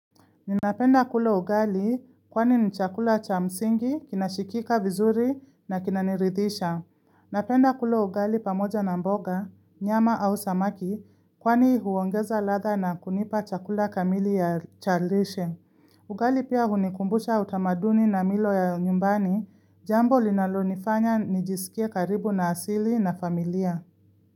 Ninapenda kula ugali kwani ni chakula cha msingi, kinashikika vizuri na kinaniridhisha. Napenda kulo ugali pamoja na mboga, nyama au samaki kwani huongeza ladha na kunipa chakula kamili ya chalrishe. Ugali pia hunikumbusha utamaduni na milo ya nyumbani, jambo linalonifanya nijisikie karibu na asili na familia.